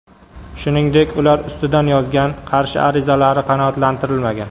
Shuningdek, ular ustidan yozgan qarshi arizalari qanoatlantirilmagan.